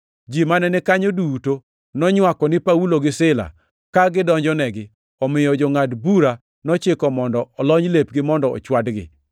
Ji mane ni kanyo duto nonywako ni Paulo gi Sila ka gidonjonegi, omiyo jongʼad bura nochiko mondo olony lepgi mondo ochwadgi.